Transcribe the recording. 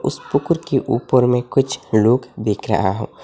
इस के ऊपर में कुछ लोग देख रहा हूं।